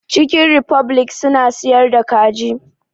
Cikin rifoblik suna siyar da kaji